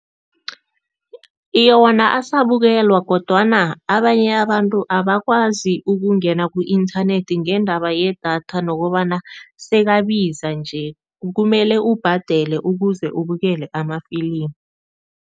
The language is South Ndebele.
Iye, wona asabukelwa kodwana abanye abantu abakwazi ukungena ku-inthanethi ngeendaba yedatha nokobana sekabiza nje, kumele ubhadele ukuze ubukele amafilimi.